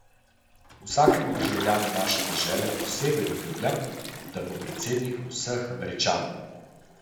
Vsakemu državljanu naše dežele posebej obljubljam, da bom predsednik vseh Američanov.